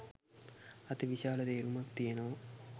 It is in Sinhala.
අතිවිශාල තේරුමක් තියෙනවා.